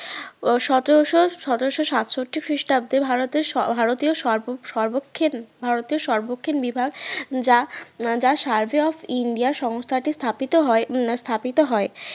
সতেরোশো~ সতেরোশো সাতষট্টি খ্রিস্টাব্দে ভারতের ভারতীয় সর্বক্ষণ ভারতীয় সর্বক্ষণ বিভাগ যা যা survey of ইন্ডিয়া সংস্থাটি স্থাপিত হম হয় স্থাপিত হয়